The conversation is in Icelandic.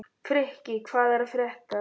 Frikki, hvað er að frétta?